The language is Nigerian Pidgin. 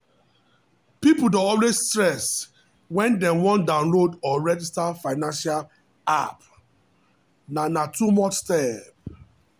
people dey always stress when dem wan download or register financial app na na too many step